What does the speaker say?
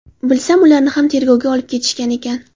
Bilsam, ularni ham tergovga olib ketishgan ekan.